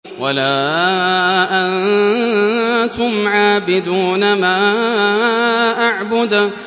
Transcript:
وَلَا أَنتُمْ عَابِدُونَ مَا أَعْبُدُ